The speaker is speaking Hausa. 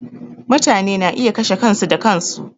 Mutane na iya kashe kansu da kansu.